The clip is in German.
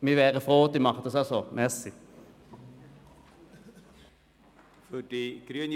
Wir wären froh, wenn Sie uns folgen würden.